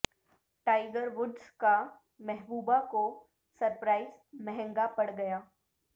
tiger Woods کا محبوبہ کو سرپرائز مہنگا پڑ گیا